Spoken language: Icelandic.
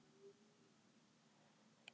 Mikilvægt að koma óánægjunni á framfæri